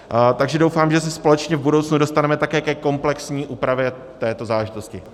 Takže doufám, že se společně v budoucnu dostaneme také ke komplexní úpravě této záležitosti.